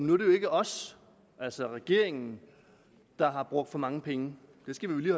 jo ikke os altså regeringen der har brugt for mange penge det skal vi